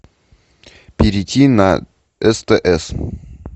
перейти на стс